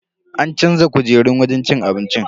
An canza kujerun wajen cin abincin.